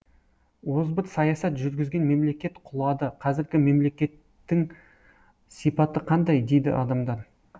озбыр саясат жүргізген мемлекет құлады қазіргі мемлекеттің сипаты қандай дейді адамдар